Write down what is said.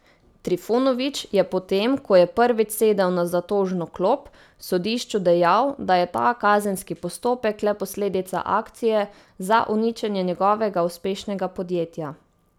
Trifunovič je potem, ko je prvič sedel na zatožno klop, sodišču dejal, da je ta kazenski postopek le posledica akcije za uničenje njegovega uspešnega podjetja.